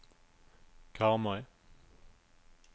Karmøy